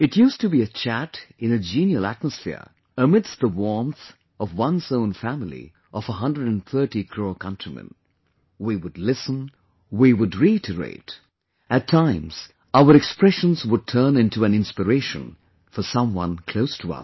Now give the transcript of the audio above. It used to be a chat in a genial atmosphere amidst the warmth of one's own family of 130 crore countrymen; we would listen, we would reiterate; at times our expressions would turn into an inspiration for someone close to us